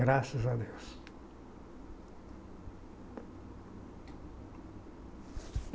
Graças a Deus.